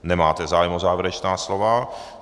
Nemáte zájem o závěrečná slova.